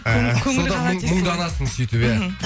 көңілі қалады десің мұңданасың сөйтіп иә